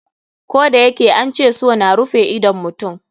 Koh da yake an ce so na rufe idon mutum.